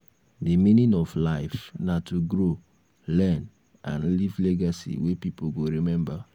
di meaning of life na to grow learn and leave legacy wey pipo go rememba.